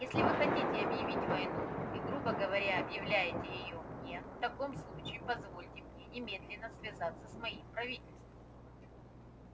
если вы хотите объявить войну и грубо говоря объявляете её мне в таком случае позвольте мне немедленно связаться с моим правительством